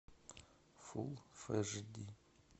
фул эш ди